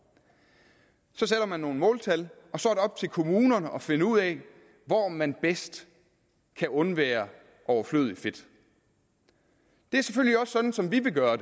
så sætter man nogle måltal og så er det op til kommunerne at finde ud af hvor man bedst kan undvære overflødigt fedt det er selvfølgelig også sådan som vi vil gøre